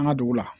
An ka dugu la